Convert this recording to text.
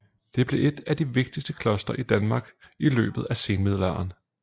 Det blev et af de vigtigste klostre i Danmark i løbet af senmiddelalderen